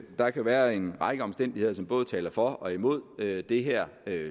der kan være en række omstændigheder som både taler for og imod det det her